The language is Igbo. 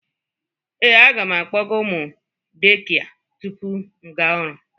Ee, aga m akpọga ụmụ dekịa tupu m aga ọrụ